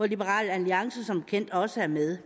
liberal alliance som bekendt også er med